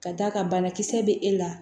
Ka d'a kan banakisɛ bɛ e la